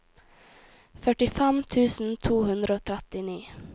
førtifem tusen to hundre og trettini